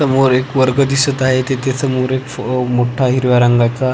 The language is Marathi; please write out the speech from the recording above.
समोर एक वर्ग दिसत आहे तिथे समोर एक फ अ मोठ्या हिरव्या रंगाचा--